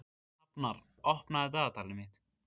Hafnar, opnaðu dagatalið mitt.